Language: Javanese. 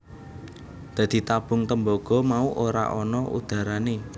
Dadi tabung tembaga mau ora ana udharane